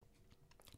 DR P2